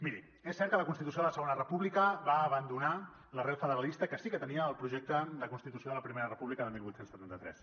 miri és cert que la constitució de la segona república va abandonar l’arrel federalista que sí que tenia el projecte de constitució de la primera república de divuit setanta tres